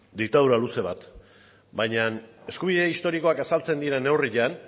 diktadura luze bat baina eskubide historikoak azaltzen diren neurrian